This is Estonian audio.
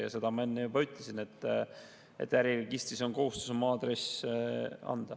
Ja seda ma enne juba ütlesin, et äriregistrisse on kohustus oma meiliaadress anda.